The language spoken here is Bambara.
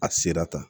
A sera tan